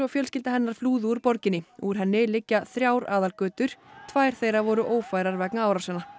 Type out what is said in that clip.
fjölskylda hennar flúðu úr borginni úr henni liggja þrjár aðalgötur tvær þeirra voru ófærar vegna árásanna